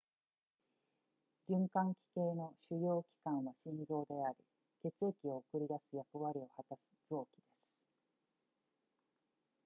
循環器系の主要器官は心臓であり血液を送り出す役割を果たす臓器です